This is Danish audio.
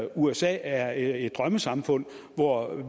usa er et drømmesamfund hvor